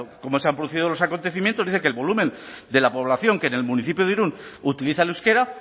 cómo se han producido los acontecimientos dice que el volumen de la población que en el municipio de irún utiliza el euskera